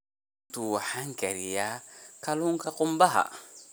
Maanta waxaan kariyaa kalluunka qumbaha.